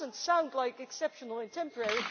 That does not sound like exceptional and temporary.